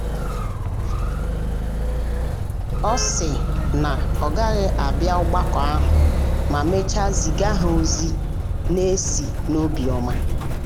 ọ sị um na ọ gaghị um abịa ogbako ahụ ma mechaa ziga ha ozi na-esi n’obiọma.